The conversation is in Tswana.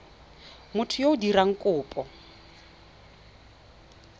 motho yo o dirang kopo